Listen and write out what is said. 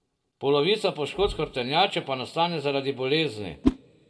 Polovica poškodb hrbtenjače pa nastane zaradi bolezni.